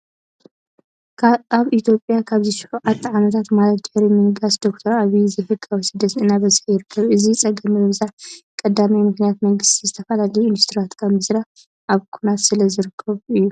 ኣብ ኢትዮጵያ ኣብዚ 7ተ ዓመታት ማለት ድሕሪ ምንጋስ ዶ/ር ኣብይ ዘይ ሕጋዊ ስደት እናበዝሓ ይርከብ። ነዚ ፀገም ምብዛሕ ቀዳማይ ምክንያት መንግስቲ ዝተፈላለዩ ኢንዱስትሪታት ካብ ምስራሕ ኣብ ኩናት ስለ ዝርከብ እዩ።